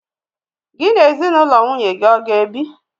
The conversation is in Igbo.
Gị na ezinụlọ nwunye gị ọ ga-ebi?